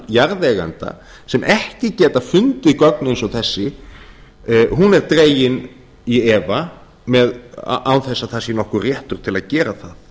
jarðeigenda sem ekki geta fundið gögn eins og þessi þau eru dregin í efa án þess að það sé nokkur réttur til að gera það